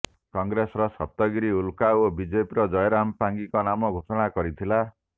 କଂଗ୍ରେସର ସପ୍ତଗିରି ଉଲକା ଓ ବିଜେପିର ଜୟରାମ ପାଙ୍ଗୀଙ୍କ ନାମ ଘୋଷଣା କରିଥିଲା